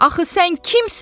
Axı sən kimsən?